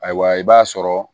Ayiwa i b'a sɔrɔ